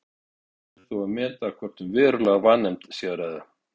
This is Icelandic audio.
Eftir er þó að meta hvort um verulega vanefnd sé að ræða.